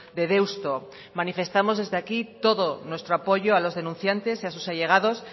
de deusto manifestamos desde aquí todo nuestro apoyo a los denunciantes y a sus allegados